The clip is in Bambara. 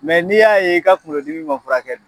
Mɛ n'i y'a ye i ka kungolo dimi ma furakɛ